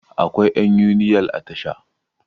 akwai yan uniyal a Tasha